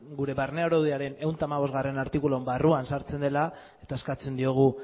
gure barne araudiaren ehun eta hamabostgarrena artikuluaren barruan sartzen dela eta eskatzen diogu